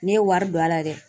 Ne ye wari don a la dɛ.